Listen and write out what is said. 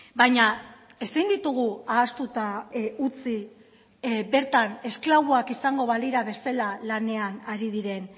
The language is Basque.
baina ezin ditugu ahaztuta utzi bertan esklaboak izango balira bezala lanean ari diren